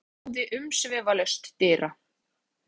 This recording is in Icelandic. Þórður Yngvi knúði umsvifalaust dyra.